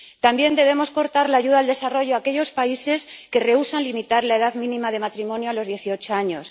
También debemos cortar la ayuda al desarrollo a aquellos países que rehúsan limitar la edad mínima de matrimonio a los 18 años.